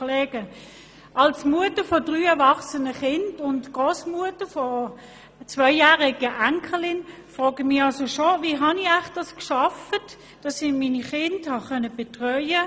Als Mutter von drei erwachsenen Kindern und Grossmutter einer zweijährigen Enkelin frage ich mich schon, wie ich es schaffen konnte, meine Kinder zu betreuen.